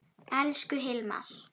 Elsku Hilmar.